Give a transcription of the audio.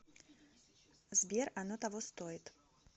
сбер оно того стоит